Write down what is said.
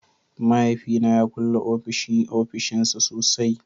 Mahaifina ya kulle ofishin ofishinsa sosai